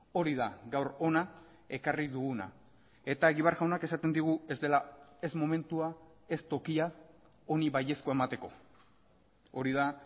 hori da gaur hona ekarri duguna eta egibar jaunak esaten digu ez dela ez momentua ez tokia honi baiezkoa emateko hori da